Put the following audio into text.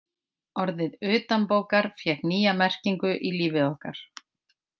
Orðið utanbókar fékk nýja merkingu í lífi okkar.